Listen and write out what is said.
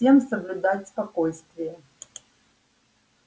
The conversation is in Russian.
всем соблюдать спокойствие